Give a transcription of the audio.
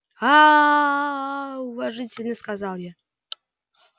аа уважительно сказал я